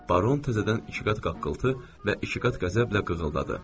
Baron təzədən iki qat qaqqıltı və iki qat qəzəblə qığıldadı.